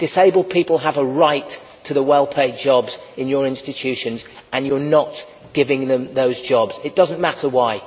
Disabled people have a right to the well paid jobs in your institutions and you are not giving them those jobs. It does not matter why.